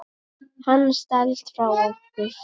Hann stelst frá okkur.